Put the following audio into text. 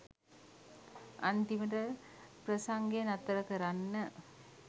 අන්තිමට ප්‍රසංගය නතර කරන්න